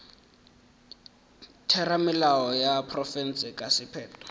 theramelao ya profense ka sephetho